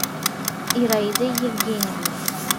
ираидой евгеньевной